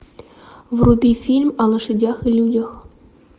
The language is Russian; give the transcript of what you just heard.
вруби фильм о лошадях и людях